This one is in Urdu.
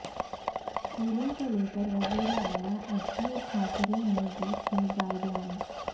اسکولوں کو لیکر وزیر اعلی ادھو ٹھاکرے نے دی تھیں گائیڈ لائنس